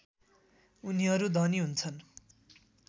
उनीहरू धनी हुन्छन्